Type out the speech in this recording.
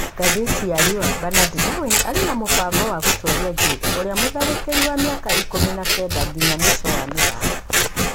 (Ngathĩti ya Riũa)Benard Darwin arĩ na mũbango wa gũtũũria Jade ũrĩa mũtharĩkeri wa miaka ikũmi na kenda nginya mũico wa mĩthako.